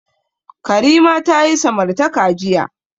Karima ta yi samartaka jiya.